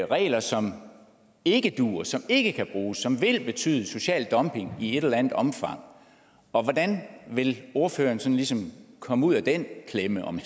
regler som ikke duer som ikke kan bruges og som vil betyde social dumping i et eller andet omfang hvordan vil ordføreren sådan ligesom komme ud af den klemme om